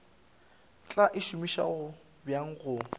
tla e šomiša bjang go